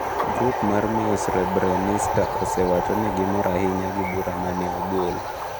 Grup mar miyo Srebrenitsa osewacho ni gimor ahinya gi bura mane ogol.